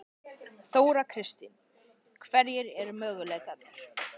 Þóra Kristín: Hverjir eru möguleikarnir?